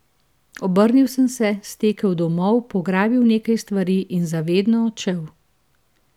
Obrnil sem se, stekel domov, pograbil nekaj stvari in za vedno odšel.